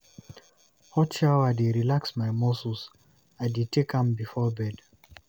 Hot shower dey relax my muscles, I dey take am before bed.